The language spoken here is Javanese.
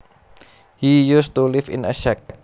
He used to live in a shack